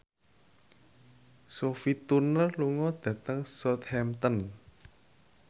Sophie Turner lunga dhateng Southampton